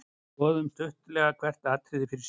Skoðum stuttlega hvert atriði fyrir sig.